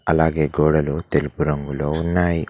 అలాగే గోడలు తెలుపు రంగులో ఉన్నాయి.